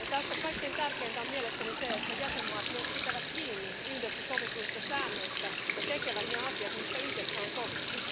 Tässä kaikkein tärkeintä on mielestäni se, että jäsenvaltiot myös pitävät kiinni yhdessä sovituista säännöistä ja tekevät ne asiat, mistä yhdessä on sovittu.